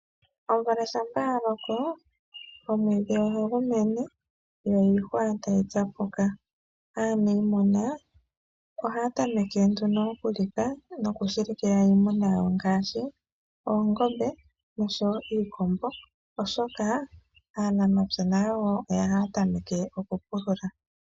Omvula shampa ya loko omwiidhi ohagu mene yo iihwa tayi tsapuka. Aanimuna oha tameke nduno okulitha noku shilikila iimuna yawo ngaashi oongombe oshowo iikombo oshoka aanamapya oha tameke oku pulula.